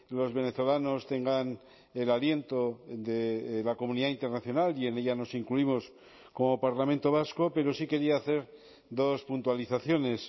los venezolanos tengan el aliento de la comunidad internacional y en ella nos incluimos como parlamento vasco pero sí quería hacer dos puntualizaciones